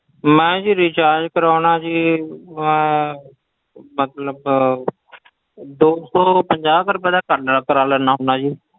ਮੈਂ ਜੀ recharge ਕਰਵਾਉਨਾ ਜੀ ਅਹ ਮਤਲਬ ਦੋ ਸੌ ਪੰਜਾਹ ਕੁ ਰੁਪਏ ਦਾ ਕਰਨਾ ਕਰਵਾ ਲੈਂਦਾ ਹੁੰਦਾ ਜੀ।